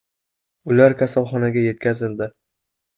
Ular kasalxonaga yetkazildi.